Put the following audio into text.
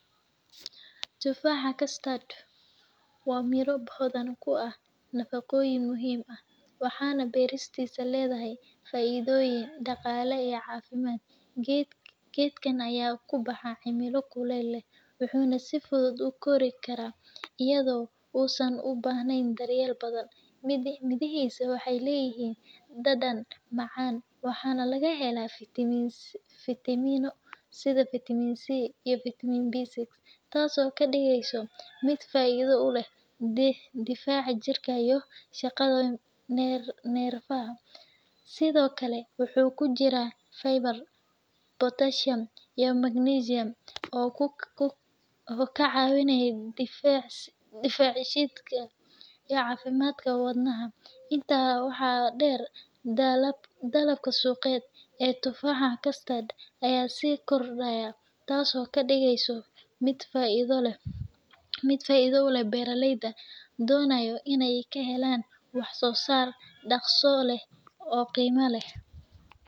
Tufaxa kaastad waa miro baadan ku ah nafaqoyin muhiim u ah waxana baristisa, ladahay faidyin daqali iyo cafimad, gadkan ay ku baxa cimal kulal lah wax nah si fudud ku gorikaraah ayado oo saan ubahnan, in daryal badan mirihisa waxay layihin, danan macan waxa nah laga hela vitiman sido vitiman c bc, taas oo ka digsoh mid faid ulah bixad difac jirka iyo shaqadan narfaha, side okle wuxu kujira viber[vs] botashiyam iyo magnisiyam, oo ku ka cawinayin nafac shidka, iyo cafimadka wad naxa, inta wax dar dalab suqad aa tufaxa kastad, si gordaya taas oo ka digsoh mid faida ulah bar layda donayo inay ka helan wax sosar daqso lah oo qima lah.